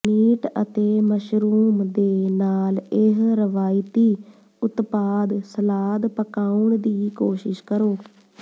meat ਅਤੇ mushroom ਦੇ ਨਾਲ ਇਹ ਰਵਾਇਤੀ ਉਤਪਾਦ ਸਲਾਦ ਪਕਾਉਣ ਦੀ ਕੋਸ਼ਿਸ਼ ਕਰੋ